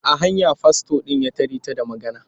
A hanya fastor ɗin ya tare ta da magana.